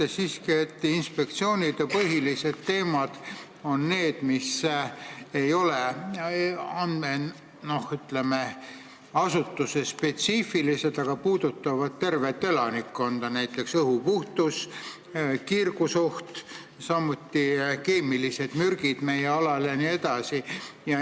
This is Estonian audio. Mina kujutan siiski ette, et inspektsioonide põhilised teemad on need, mis ei ole, ütleme, asutusespetsiifilised, vaid puudutavad tervet elanikkonda, näiteks õhu puhtus, kiirgusoht, samuti keemilised mürgid meie alal jne.